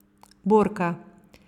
Borka.